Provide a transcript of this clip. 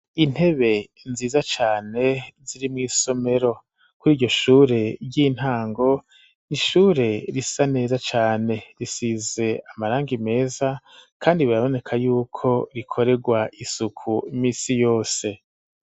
Intebe nziza cane ziri mw'isomero kuri iryo shure ry'intango n'ishure risa neza cane risize amarangi meza kandi biraboneka yuko rikoregwa isuku misi yose.